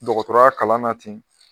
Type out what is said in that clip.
Dɔgɔtɔrɔya kalan na ten.